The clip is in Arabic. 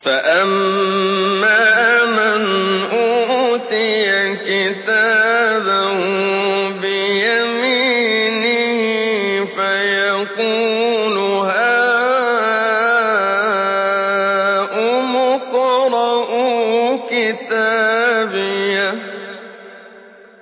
فَأَمَّا مَنْ أُوتِيَ كِتَابَهُ بِيَمِينِهِ فَيَقُولُ هَاؤُمُ اقْرَءُوا كِتَابِيَهْ